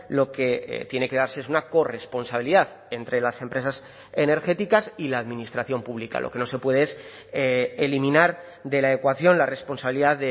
lo que tiene que darse es una corresponsabilidad entre las empresas energéticas y la administración pública lo que no se puede es eliminar de la ecuación la responsabilidad